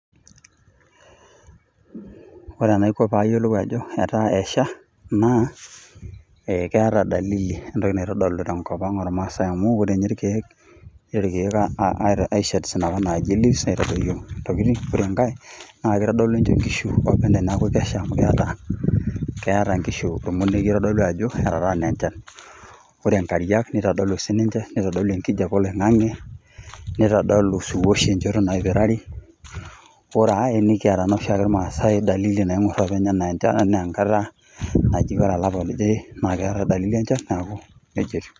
Ore enaiko paayiolou ajo etaa esha naa, eh keeta dalili etoki naitodolu tenkop ang irmasaae amu, ore ninye irkeek. Iteru irkeek ai shade kuna naaji leaves aitadoyio intokitin. Ore enkae naa kitodolu ninye inkishu openy ajo Kesha amu, keeta inkishu ormonokie oitodolu ajo etaana enchan. Ore inkariak nitodolu sininche, nitodolu ekijape oloingange egira awoshiwosh enchoto napirari . Ore ae nikiata oshi ake irmasaae dalili naingor openy enaa enchan enaa enkata naji ore olapa loje naa keetae dalili enchan . Neaku nejia etiu.